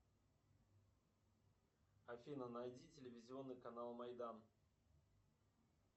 афина найди телевизионный канал майдан